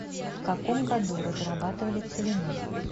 в каком году разрабатывали целину